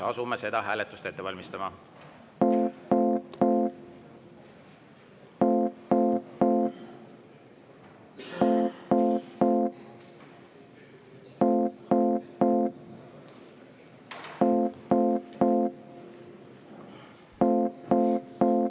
Asume seda hääletust ette valmistama.